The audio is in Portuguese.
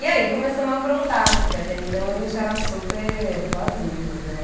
E aí começamos a aprontar, porque até então a gente era super boazinhas, né?